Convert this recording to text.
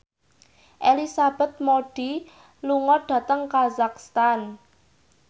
Elizabeth Moody lunga dhateng kazakhstan